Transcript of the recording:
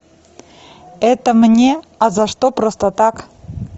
это мне а за что просто так